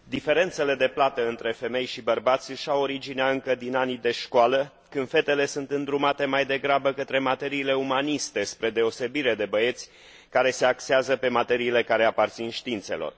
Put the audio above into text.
Diferențele de plată între femei și bărbați își au originea încă din anii de școală, când fetele sunt îndrumate mai degrabă către materiile umaniste, spre deosebire de băieți, care se axează pe materiile care aparțin științelor.